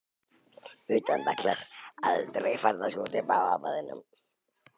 Utan vallar: aldrei.